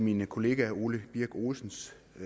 min kollega herre ole birk olesens